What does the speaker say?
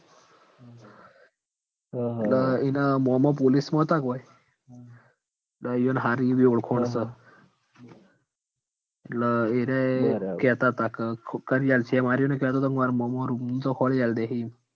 એટલ ઈન મોમો પોલીસમાં અતા ન ઓય તે ઈયોન હારી એવી ઓળખોન સ એટલ એરાયે કે તા ક કરી આલસી એમ અર્યાનયો કે તો તો ક માર મોમો room તો ખોરી આલ દેહી ઈમ